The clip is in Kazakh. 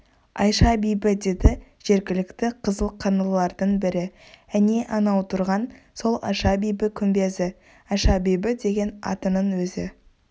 айша-бибі деді жергілікті қызыл қаңлылардың бірі әне анау тұрған сол айша-бибі күмбезі айша-бибі деген атының өзі